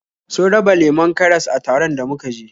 Sun raba lemon karas a taron da muka je